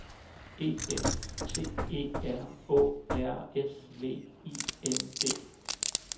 E F T E R Å R S V I N D